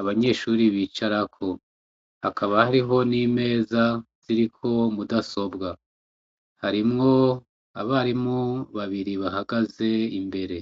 abanyeshure bicarako hakaba hariho n'imeza ziriko mudasobwa. Harimwo abarimu babiri bahagaze imbere.